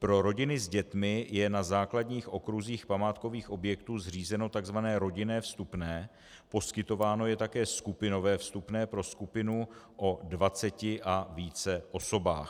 Pro rodiny s dětmi je na základních okruzích památkových objektů zřízeno tzv. rodinné vstupné, poskytováno je také skupinové vstupné pro skupinu od 20 a více osobách.